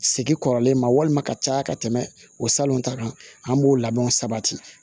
Segin kɔrɔlen ma walima ka caya ka tɛmɛ o salon ta kan an b'o labɛnw sabati